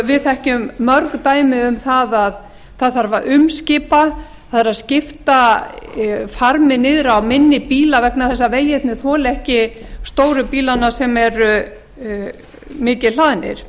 við þekkjum mörg dæmi um það að það þarf að umskipa það þarf að skipta farmi niður á minni bíla vegna þess að vegirnir þola ekki stóru bílana sem eru mikið hlaðnir